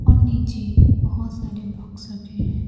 और नीचे बहोत सारे बाक्स रखें है।